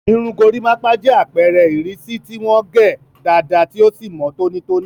Irun gorimapa jẹ́ àpẹẹrẹ ìrísí tí wọ́n gé dáadáa tí ó sì mọ́ tónítóní.